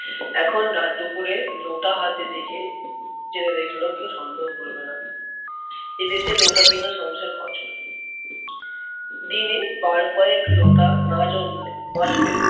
এখন রাতদুপুরে যত হাতে দেখে যেতে দেখলেও কেউ সন্দেহ করবেনা। এদেশে লোটা বিনা সংসার অচল। দিনে বার কয়েক লোটা না জমলে বাজলে